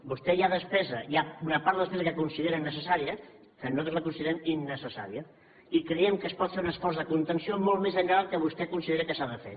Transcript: vostè hi ha una part de la despesa que considera necessària que nosaltres la considerem innecessària i creiem que es pot fer un esforç de contenció molt més enllà del que vostè considera que s’ha de fer